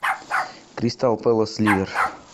кристал пэлас ливер